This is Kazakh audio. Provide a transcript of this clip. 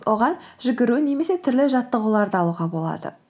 оған жүгіру немесе түрлі жаттығуларды алуға болады